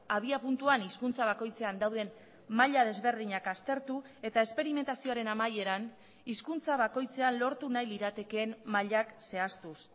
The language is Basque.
abiapuntuan hizkuntza bakoitzean dauden maila desberdinak aztertu eta esperimentazioaren amaieran hizkuntza bakoitzean lortu nahi liratekeen mailak zehaztuz